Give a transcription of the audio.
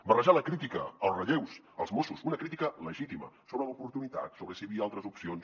barrejar la crítica als relleus als mossos una crítica legítima sobre l’oportunitat sobre si hi havia altres opcions